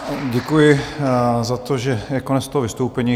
Děkuji za to, že je konec toho vystoupení.